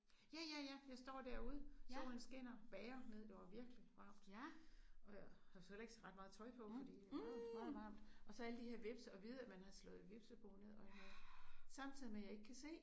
Ja ja ja jeg står derude solen skinner bager ned der var virkelig varmt og jeg har jo så heller ikke ret meget tøj på fordi det var meget varmt og så alle de her hvepse og vide at man har slået et hvepsebo ned og sådan noget. Samtidig med jeg ikke kan se